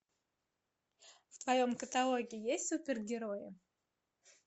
в твоем каталоге есть супергерои